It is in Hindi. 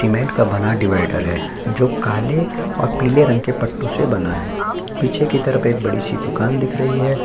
सीमेंट का बना डीवाईडर है जो काले और पीले रंग के पट्टो से बना है पीछे की तरफ एक बड़ी सी दुकान दिख रही है।